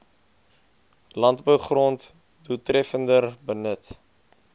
landbougrond doeltreffender benut